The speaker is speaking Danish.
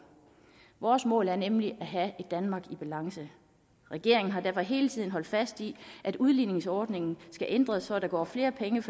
vores mål er nemlig at have et danmark i balance regeringen har derfor hele tiden holdt fast i at udligningsordningen skal ændres så der går flere penge